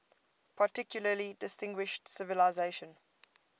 particularly distinguished civilization